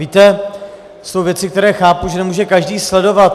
Víte, jsou věci, které chápu, že nemůže každý sledovat.